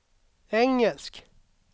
engelsk